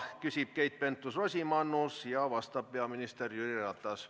Küsib Keit Pentus-Rosimannus ja vastab peaminister Jüri Ratas.